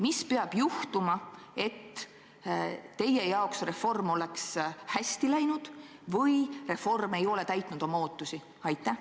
Mis peaks juhtuma, et teie arvates reform oleks hästi läinud või reform ei oleks täitnud ootusi?